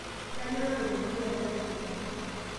kainyio naloito dukuya tiatua aji